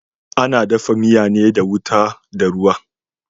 Ana dafa miya ne da ruwa da wuta.